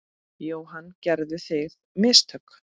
Jóhann: Gerðuð þið mistök?